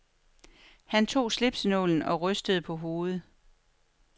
Han tog slipsenålen og rystede på hovedet.